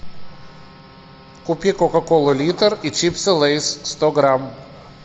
купи кока кола литр и чипсы лейс сто грамм